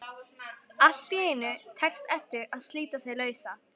Allt í einu tekst Eddu að slíta sig lausa.